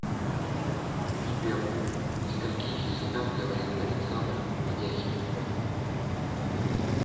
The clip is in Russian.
сбер на скольких языках говорит александр ведяхин